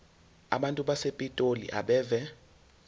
abantu basepitoli abeve